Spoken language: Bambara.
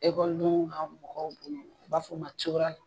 Ekɔlidenw ka mɔgɔw b'a fɔ ma cogoya mun